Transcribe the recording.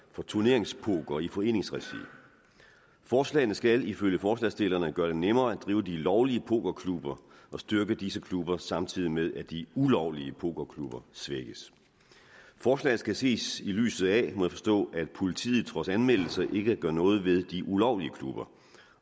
for turneringspoker i foreningsregi forslagene skal ifølge forslagsstillerne gøre det nemmere at drive de lovlige pokerklubber og styrke disse klubber samtidig med at de ulovlige pokerklubber svækkes forslaget skal ses i lyset af må jeg forstå at politiet trods anmeldelser ikke gør noget ved de ulovlige klubber